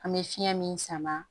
An bɛ fiɲɛ min sama